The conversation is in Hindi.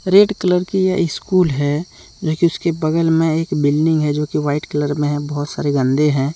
रेड कलर की यह स्कूल है लेकिन उसके बगल में एक बिल्डिंग है जो की वाइट कलर में हैं बहुत सारे गंदे हैं।